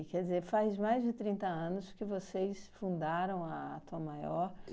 E quer dizer, faz mais de trinta anos que vocês fundaram a Tom Maior.